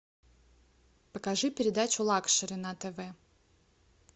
покажи передачу лакшери на тв